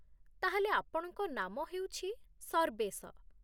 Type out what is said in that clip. ତା'ହେଲେ ଆପଣଙ୍କ ନାମ ହେଉଛି ସର୍ବେଶ